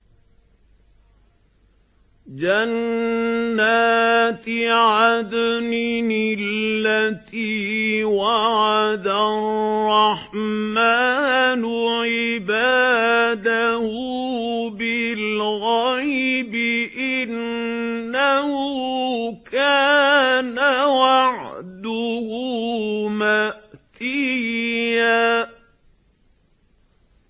جَنَّاتِ عَدْنٍ الَّتِي وَعَدَ الرَّحْمَٰنُ عِبَادَهُ بِالْغَيْبِ ۚ إِنَّهُ كَانَ وَعْدُهُ مَأْتِيًّا